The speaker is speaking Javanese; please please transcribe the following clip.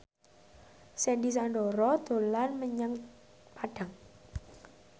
Sandy Sandoro dolan menyang Padang